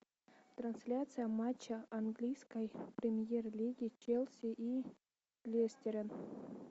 трансляция матча английской премьер лиги челси и лестера